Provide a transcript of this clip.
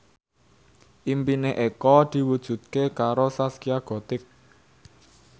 impine Eko diwujudke karo Zaskia Gotik